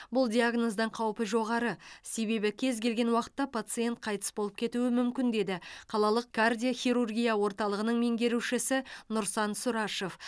бұл диагноздың қаупі жоғары себебі кез келген уақытта пациент қайтыс болып кетуі мүмкін деді қалалық кардиохирургия орталығының меңгерушісі нұрсан сұрашев